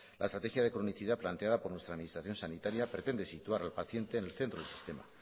la estrategia de clonicidad planteada por nuestra administración sanitaria pretende situar al paciente en el centro del sistema